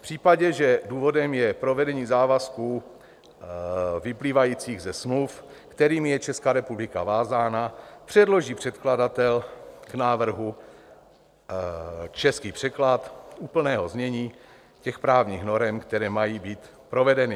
V případě, že důvodem je provedení závazků vyplývajících ze smluv, kterými je Česká republika vázána, předloží předkladatel k návrhu český překlad úplného znění těch právních norem, které mají být provedeny.